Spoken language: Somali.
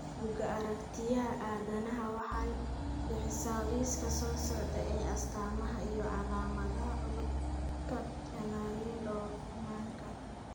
Bugga Aaragtiyaha Aadanaha waxay bixisaa liiska soo socda ee astamaha iyo calaamadaha cudurka Chanarin Dorfmanka.